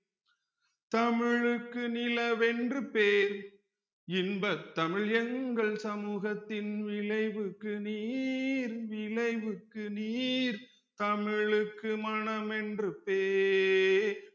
தமிழுக்கு நிலவென்று பேர் இன்பத் தமிழ் எங்கள் சமூகத்தின் விளைவுக்கு நீர் விளைவுக்கு நீர் தமிழுக்கு மனமென்று பேர்